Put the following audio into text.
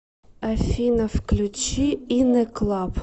афина включи ин э клаб